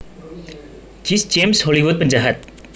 Jesse James Hollywood penjahat